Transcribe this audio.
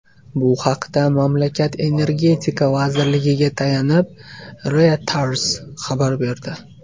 Bu haqda mamlakat Energetika vazirligiga tayanib, Reuters xabar berdi .